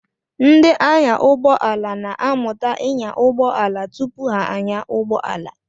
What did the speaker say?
Ndị anyàụgbọala na-amụta ịnya ụgbọala tupu ha anyaa ụgbọala.